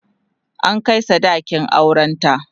an Kai sadakin auran ta